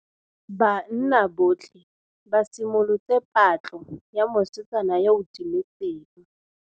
Banna botlhê ba simolotse patlô ya mosetsana yo o timetseng.